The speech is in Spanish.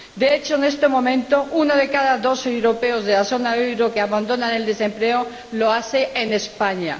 De hecho, en estos momentos, uno de cada dos europeos de la zona del euro que abandona el desempleo lo hace en España.